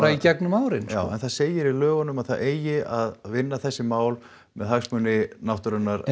í gegnum árin en það segir í lögunum að það eigi að vinna þessi mál með hagsmuni náttúrunnar